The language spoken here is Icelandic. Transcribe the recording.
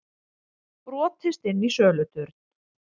Brotist inn í söluturn